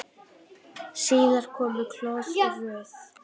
Síðar komu Claus og Ruth.